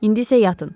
İndi isə yatın.